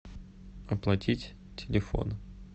оплатить телефон